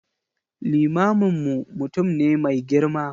Limaminmu mutum ne mai girma.